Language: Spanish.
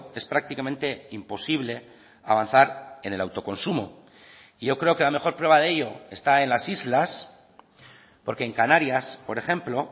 es prácticamente imposible avanzar en el autoconsumo y yo creo que la mejor prueba de ello está en las islas porque en canarias por ejemplo